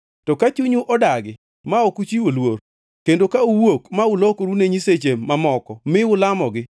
To ka chunyu odagi ma ok uchiwo luor kendo ka uwuok ma ukuloru ne nyiseche mamoko mi ulamogi,